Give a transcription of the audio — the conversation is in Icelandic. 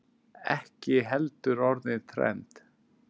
Ekki heldur orðið trend.